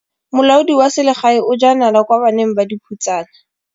Molaodi wa selegae o jaa nala kwa baneng ba dikhutsana.